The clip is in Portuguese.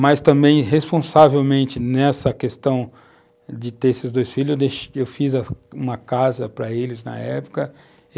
Mas, também, responsavelmente nessa questão de ter esses dois filhos, eu deix eu fiz uma casa para eles na época.